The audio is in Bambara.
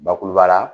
Bakuruba la